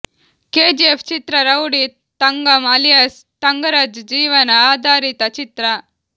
KGF ಚಿತ್ರ rowdy Thangam alias Thangaraj ಜೀವನ ಆಧಾರಿತ ಚಿತ್ರ